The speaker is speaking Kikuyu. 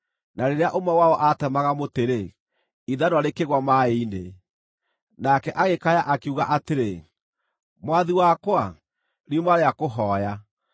Na rĩrĩa ũmwe wao aatemaga mũtĩ-rĩ, ithanwa rĩkĩgũa maaĩ-inĩ. Nake agĩkaya, akiuga atĩrĩ, “Mwathi wakwa, riuma rĩa kũhooya!”